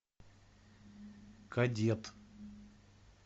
кадет